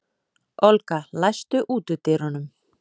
Olga, læstu útidyrunum.